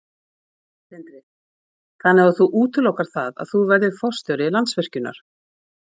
Sindri: Þannig að þú útilokar það að þú verðir forstjóri Landsvirkjunar?